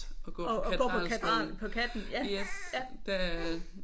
At gå på Katedral på Katten ja